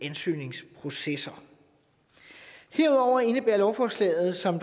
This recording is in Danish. ansøgningsprocessen herudover indebærer lovforslaget som